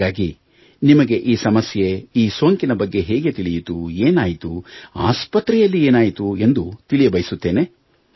ಹಾಗಾಗಿ ನಿಮಗೆ ಈ ಸಮಸ್ಯೆ ಈ ಸೋಂಕಿನ ಬಗ್ಗೆ ಹೇಗೆ ತಿಳಿಯಿತು ಏನಾಯಿತು ಆಸ್ಪತ್ರೆಯಲ್ಲಿ ಏನಾಯಿತು ಎಂದು ತಿಳಿಯಬಯಸುತ್ತೇನೆ